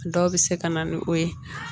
Dɔw bɛ se ka na ni o ye